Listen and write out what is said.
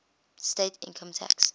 state income tax